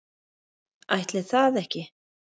Ætli það ekki.